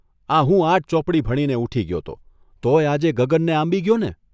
આ હું આઠ ચોપડી ભણીને ઊઠી ગયો 'તો, તોયે આજે ગગનને આંબી ગયોને?